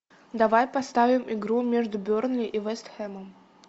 давай поставим игру между бернли и вест хэмом